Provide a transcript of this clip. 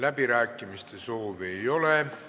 Kõnesoove ei ole.